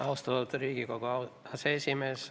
Austatud Riigikogu aseesimees!